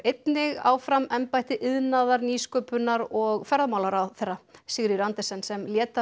áfram embætti iðnaðar nýsköpunar og ferðamálaráðherra Sigríður Andersen sem lét